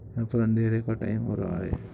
यहां पर अंधेरे का टाइम हो रहा है।